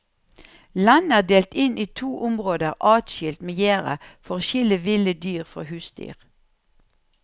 Landet er delt inn i to områder adskilt med gjerde for å skille ville dyr fra husdyr.